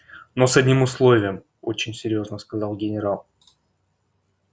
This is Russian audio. но с одним условием очень серьёзно сказал генерал